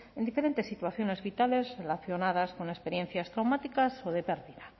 en diferentes situaciones vitales relacionadas con experiencias traumáticas o de pérdida